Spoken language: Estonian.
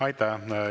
Aitäh!